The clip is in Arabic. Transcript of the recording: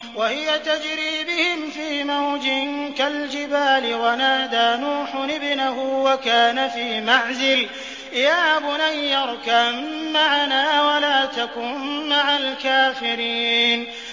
وَهِيَ تَجْرِي بِهِمْ فِي مَوْجٍ كَالْجِبَالِ وَنَادَىٰ نُوحٌ ابْنَهُ وَكَانَ فِي مَعْزِلٍ يَا بُنَيَّ ارْكَب مَّعَنَا وَلَا تَكُن مَّعَ الْكَافِرِينَ